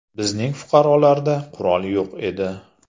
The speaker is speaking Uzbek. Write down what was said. Bizning fuqarolarda qurol yo‘q edi.